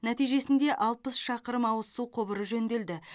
нәтижесінде алпыс шақырым ауыз су құбыры жөнделді